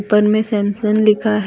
पर में सैमसंग लिखा है।